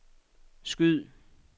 skyd